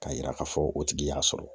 Ka yira ka fɔ o tigi y'a sɔrɔ.